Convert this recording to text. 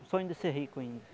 Um sonho de ser rico ainda.